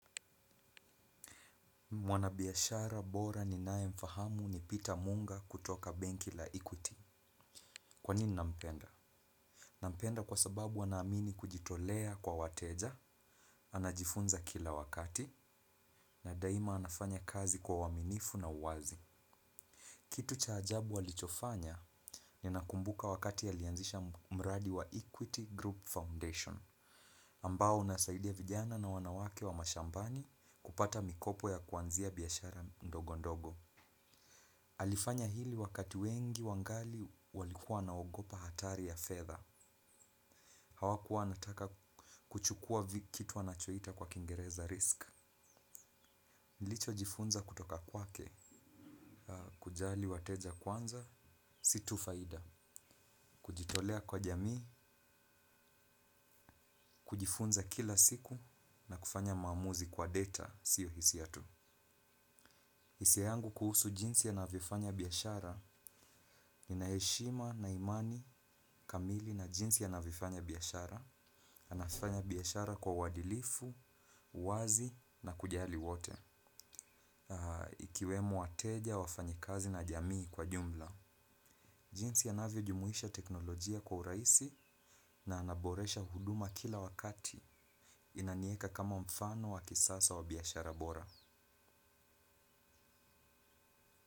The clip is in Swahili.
Mwanabiashara bora ninae mfahamu ni Pita Munga kutoka benki la Equity. Kwanini nampenda? Nampenda kwa sababu anaamini kujitolea kwa wateja, anajifunza kila wakati, na daima anafanya kazi kwa uaminifu na uwazi. Kitu cha ajabu walichofanya ninakumbuka wakati ya alianzisha mradi wa Equity Group Foundation. Ambao unasaidia vijana na wanawake wa mashambani kupata mikopo ya kuanzia biashara ndogo ndogo. Alifanya hili wakati wengi wangali walikuwa wanaogopa hatari ya fedha. Hawakua anataka kuchukua kitu anachoita kwa kingereza risk. Nilicho jifunza kutoka kwake, kujali wateja kwanza, si tu faida. Kujitolea kwa jamii, jifunze kila siku na kufanya maamuzi kwa data, siyo hisia tu. Hisia yangu kuhusu jinsi anavyofanya biashara. Nina heshima na imani kamili na jinsi anavyofanya biashara. Anafanya biashara kwa uadilifu, uwazi na kujali wote. Ikiwemo wateja, wafanyikazi na jamii kwa jumla. Jinsi anavyo jumuisha teknolojia kwa urahisi na anaboresha huduma kila wakati. Inanieka kama mfano wa kisasa wa biashara bora.